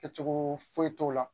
Kɛcogo foyi foyi t'o la